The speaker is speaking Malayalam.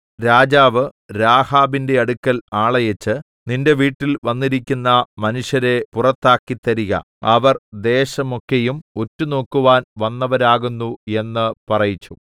രാജാവ് രാഹാബിന്റെ അടുക്കൽ ആളയച്ച് നിന്റെ വീട്ടിൽ വന്നിരിക്കുന്ന മനുഷ്യരെ പുറത്തിറക്കിത്തരിക അവർ ദേശമൊക്കെയും ഒറ്റുനോക്കുവാൻ വന്നവരാകുന്നു എന്ന് പറയിപ്പിച്ചു